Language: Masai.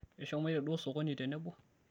keshomoito duo sokoni tenebo